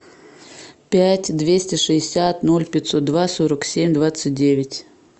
пять двести шестьдесят ноль пятьсот два сорок семь двадцать девять